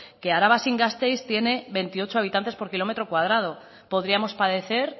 que araba sin gasteiz tiene veintiocho habitantes por kilómetro cuadrado podríamos padecer